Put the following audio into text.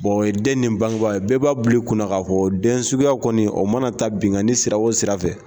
O ye den ni bangeba ye bɛɛ b'a bili kunna ka fɔ den suguya kɔni, o mana ta binganni sira o sira fɛ